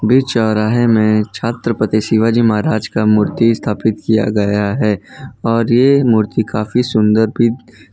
बीच चौराहे में छत्रपति शिवाजी महाराज का मूर्ति स्थापित किया गया है और ये मूर्ति काफी सुंदर भी--